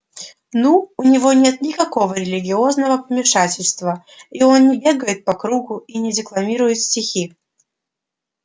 ну у него нет никакого религиозного помешательства и он не бегает по кругу и не декламирует стихи